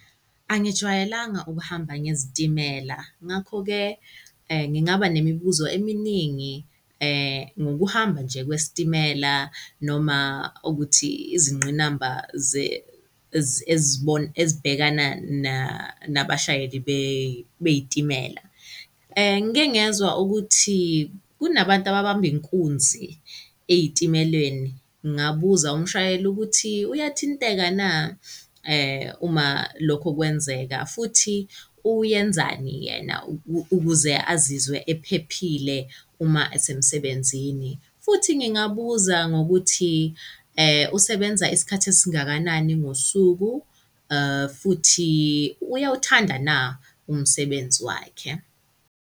Angijwayelanga ukuhamba ngezitimela, ngakho-ke ngingaba nemibuzo eminingi ngokuhamba nje kwesitimela noma ukuthi izingqinamba ezibhekana nabashayeli bey'timela. Ngike ngezwa ukuthi kunabantu ababamba inkunzi ey'timeleni, ngabuza umshayeli ukuthi uyathinteka na uma lokho kwenzeka? Futhi uyenzani yena ukuze azizwe ephephile uma esemsebenzini? Futhi ngingabuza ngokuthi usebenza isikhathi esingakanani ngosuku? Futhi uyawuthanda na umsebenzi wakhe?